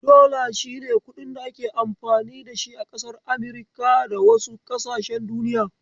Dollar shine kuɗin da ake amfani da shi a kasar Amurika da wasu ƙasashen duniya.